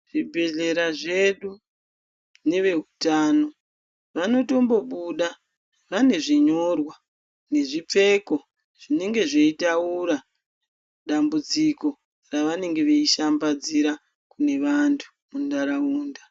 Zvibhehlera zvedu neveutano vanotombobuda vane zvinyorwa nezvipfeko zvinenge zveinotaura dambudziko ravanenge vachishambadzira kune vanhu munharaunda